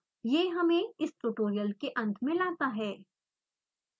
यह हमें इस tutorial के अंत में लाता है